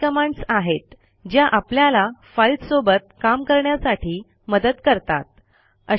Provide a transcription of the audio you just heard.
या काही कमांडस आहेत ज्या आपल्याला फाईल्स सोबत काम करण्यासाठी मदत करतात